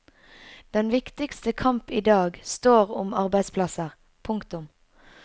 Den viktigste kamp idag står om arbeidsplasser. punktum